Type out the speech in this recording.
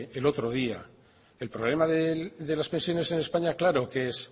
el otro día el problema de las pensiones en españa claro que es